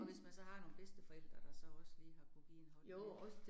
Og hvis man så har nogle bedsteforældre, der så også lige har kunnet give en hånd med det